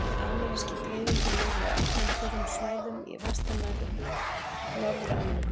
Ameríski greifinginn lifir á opnum, þurrum svæðum í vestanverðri Norður-Ameríku.